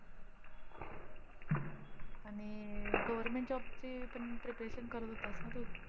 आणि अं government ची पण preparation करत होतास ना तू?